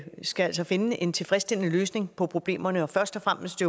skal finde en tilfredsstillende løsning på problemerne først og fremmest